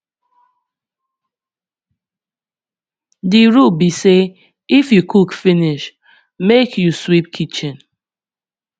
di rule be sey if you cook finish make make you sweep kitchen